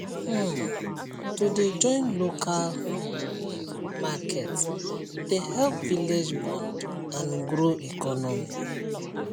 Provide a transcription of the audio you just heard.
um to dey join local um market dey help village bond and grow economy